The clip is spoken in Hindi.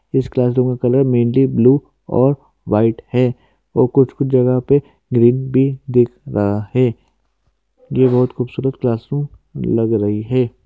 इस क्लास रूम का कलर मेनली ब्लू और वाईट है और कुछ-कुछ जगह पे ग्रीन भी दिख रहा है ये बहोत खूबसूरत क्लासरूम लग रही है।